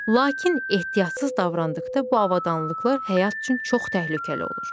Lakin ehtiyatsız davrandıqda bu avadanlıqlar həyat üçün çox təhlükəli olur.